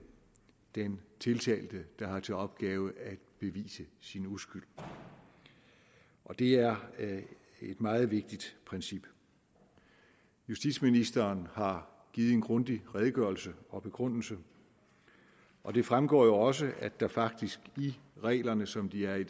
den tiltalte der har til opgave at bevise sin uskyld det er et meget vigtigt princip justitsministeren har givet en grundig redegørelse og begrundelse og det fremgår jo også at der faktisk i reglerne som de er i